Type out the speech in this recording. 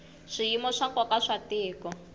swiyimo swa nkoka swa tiko